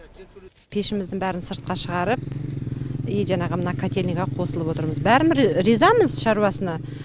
пешіміздің бәрін сыртқа шығарып и жаңағы мына кательниға қосылып отырмыз бәрімі ризамыз шаруасына